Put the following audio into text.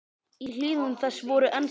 Í hlíðum þess voru enn skaflar.